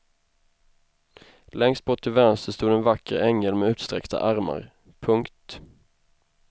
Längst bort till vänster stod en vacker ängel med utsträckta armar. punkt